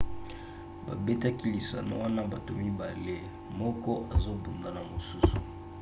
babetaka lisano wana bato mibale moko azobunda na mosusu